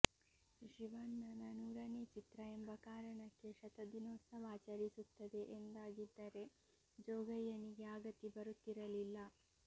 ಶಿವಣ್ಣನ ನೂರನೇ ಚಿತ್ರ ಎಂಬ ಕಾರಣಕ್ಕೆ ಶತದಿನೋತ್ಸವ ಆಚರಿಸುತ್ತದೆ ಎಂದಾಗಿದ್ದರೆ ಜೋಗಯ್ಯನಿಗೆ ಆ ಗತಿ ಬರುತ್ತಿರಲಿಲ್ಲ